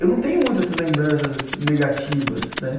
Eu não tenho muito essas lembranças negativas, né?